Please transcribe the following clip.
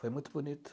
Foi muito bonito.